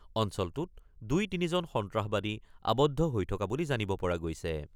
অঞ্চলটোত দুই তিনিজন সন্ত্ৰাসবাদী আবদ্ধ হৈ থকা বুলি জানিব পৰা গৈছে।